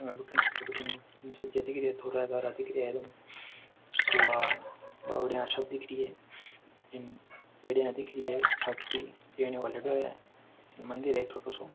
दिख रिया है और बौड़ाइयाँ सी दिख री है इमं पेडिया दिख री है छत की चेन वाल्डो है मंदिर है छोटो सो।